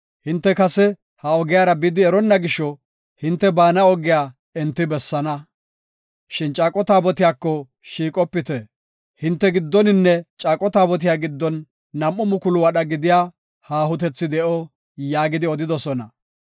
Hinte kase ha ogiyara bidi eronna gisho, hinte baana ogiya enti bessaana. Shin caaqo taabotiyako shiiqopite. Hinte giddoninne caaqo taabotiya giddon nam7u mukulu wadha gidiya haahotethi de7o” yaagidi odidosona.